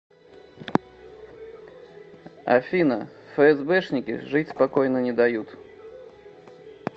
афина фээсбэшники жить спокойно не дают